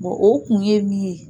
Bɔn o kun ye min ye.